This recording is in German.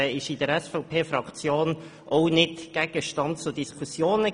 Dies war in der SVPFraktion denn auch nicht Gegenstand von Diskussionen.